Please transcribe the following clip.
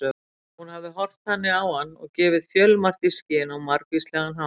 Hún hafði horft þannig á hann og gefið fjölmargt í skyn á margvíslegan hátt.